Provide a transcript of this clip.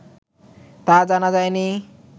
তা জানা যায় নি